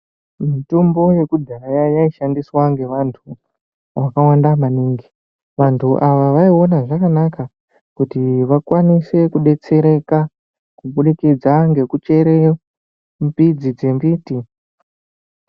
Mitombo yekudhaya yaishandiswa ngevantu vakawanda maningi vantu ava vaiona zvakanaka kuti vakwanise ku detsereka kubudikidza ngeku chere mbidzi dze mbiti.